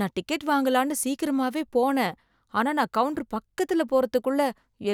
நான் டிக்கெட் வாங்கலாம்னு சீக்கிரமாவே போனேன், ஆனா நான் கவுன்ட்டர் பக்கத்துல போறதுக்குள்ள